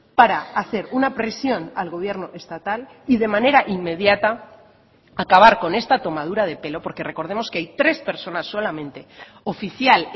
para hacer una presión al gobierno estatal y de manera inmediata acabar con esta tomadura de pelo porque recordemos que hay tres personas solamente oficial